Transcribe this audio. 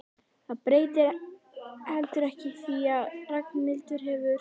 Það breytir heldur ekki því að Ragnhildur hefur